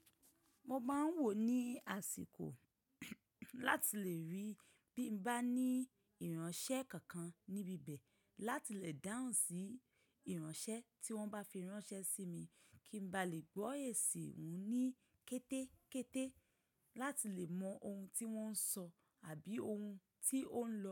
Mo máa ń wò ní àsìkò láti lè rí bí mo bá ní ìránṣẹ́ kankan níbi bẹ̀ láti lè dáhùnsí ìránṣẹ́ tí wọ́n bá fi ránṣẹ́ sí mi kí ń ba lè gbọ́ èsì òun ní kété kété láti lè mọ ohun tí wọ́n ń sọ àbí ohun tí ó ń lọ.